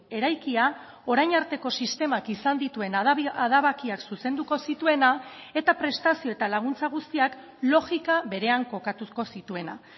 eraikia orain arteko sistemak izan dituen adabakiak zuzenduko zituena eta prestazio eta laguntza guztiak logika berean kokatuko zituena